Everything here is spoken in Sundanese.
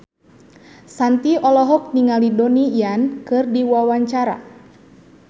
Shanti olohok ningali Donnie Yan keur diwawancara